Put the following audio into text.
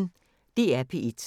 DR P1